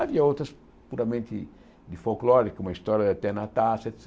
Havia outras puramente de folclore, como a História da Tia Nastácia, et